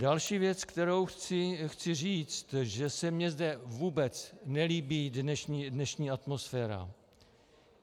Další věc, kterou chci říct, že se mi zde vůbec nelíbí dnešní atmosféra.